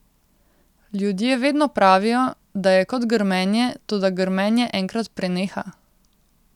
Ljudje vedno pravijo, da je kot grmenje, toda grmenje enkrat preneha.